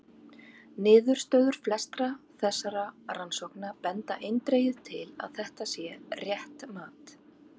Niðurstöður flestra þessara rannsókna benda eindregið til að þetta sé rétt mat.